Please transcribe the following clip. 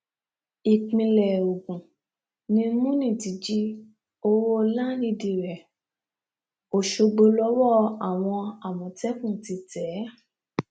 ìpínlẹ ogun ni múni ti jí owó láńdìdì rẹ ọṣọgbó lọwọ àwọn àmọtẹkùn ti tẹ é